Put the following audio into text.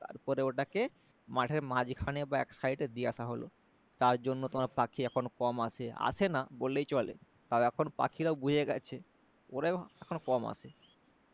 তারপরে ওটাকে মাঠের মাঝখানে বা এক side এ দিয়ে আসা হলো তারজন্য তোমার পাখি এখন কম আসে আসে না বললেই চলে কারণ এখন পাখিরাও বুঝে গেছে ওরাও এখন কম আসে